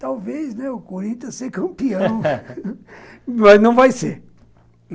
Talvez, né, o Corinthians ser campeão, mas não vai ser.